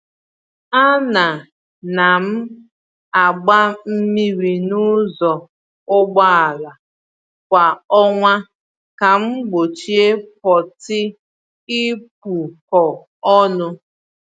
A na na m agba mmiri n’ụzọ ụgbọala kwa ọnwa ka m gbochie pọtị ịkpụkọ ọnụ